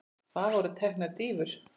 Það voru teknar dýfur.